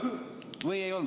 Või ei olnud nii?